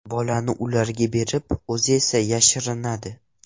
Bolani ularga berib, o‘zi esa yashirinadi.